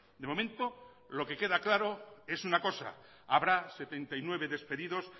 de momento lo que queda claro es una cosa habrá setenta y nueve despedidos